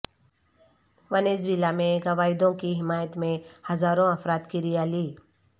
Venezuela میں Guaido کی حمایت میں ہزاروں افراد کی ریالی